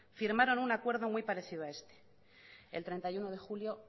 firmaron un acuerdo muy parecido a este el treinta y uno de julio